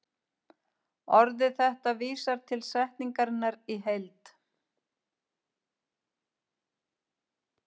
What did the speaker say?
Orðið þetta vísar til setningarinnar í heild.